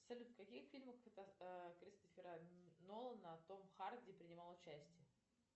салют в каких фильмах кристофера нолана том харди принимал участие